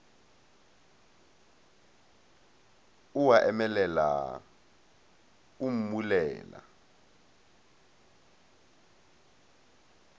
o a emelela o mmulela